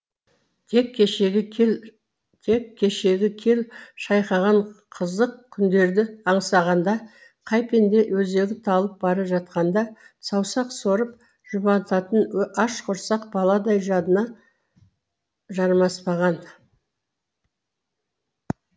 тек кешегі кел шайқаған қызық күндерді аңсағанда қай пенде өзегі талып бара жатқанда саусақ сорып жұбанатын аш құрсақ баладай жадына жармаспаған